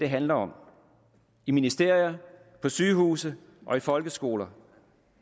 handler om i ministerier på sygehuse i folkeskoler